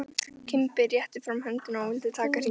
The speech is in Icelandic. Kimbi rétti fram höndina og vildi taka hringinn.